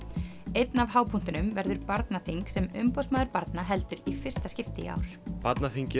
einn af verður barnaþing sem umboðsmaður barna heldur í fyrsta skipti í ár barnaþing